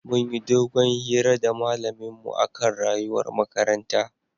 Munyi dogon hira da malamin mu akan rayuwar makaranta